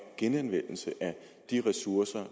genanvendelse af de ressourcer